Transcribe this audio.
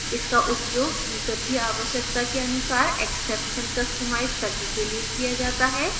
इसका उपयोग यूजर की आवश्यकता के अनुसार exception customize करने के लिए किया जाता है